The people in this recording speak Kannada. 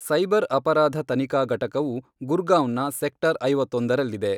ಸೈಬರ್ ಅಪರಾಧ ತನಿಖಾ ಘಟಕವು ಗುರ್ಗಾಂವ್ನ ಸೆಕ್ಟರ್ ಐವತ್ತೊಂದರಲ್ಲಿದೆ.